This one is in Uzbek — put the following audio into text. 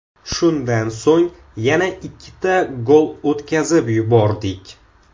Shundan so‘ng yana ikkita gol o‘tkazib yubordik.